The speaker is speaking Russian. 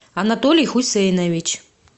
анатолий хусейнович